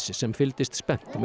sem fylgdist spennt með